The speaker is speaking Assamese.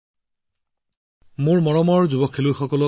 মোদী জীঃ নমস্কাৰ মোৰ মৰমৰ যুৱ খেলুৱৈসকল